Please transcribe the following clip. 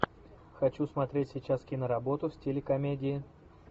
хочу смотреть сейчас киноработу в стиле комедии